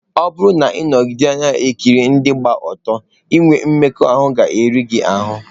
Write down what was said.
Ọ bụrụ na ị nọgide na-ekiri ndị gba ọtọ, inwe mmekọahụ ga-eri gị ahụ́.